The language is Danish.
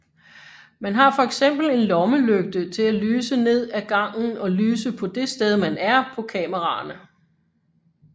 Man har fx en lommelygte til at lyse ned af gangen og lyse på det sted man er på kameraerne